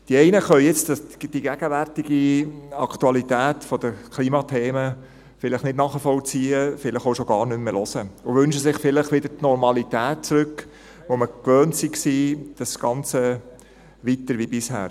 Die einen können jetzt die gegenwärtige Aktualität der Klimathemen vielleicht nicht nachvollziehen, vielleicht auch schon gar nicht mehr hören und wünschen sich vielleicht wieder die Normalität zurück, die wir uns gewöhnt waren, das ganze Weiter-wie-bisher.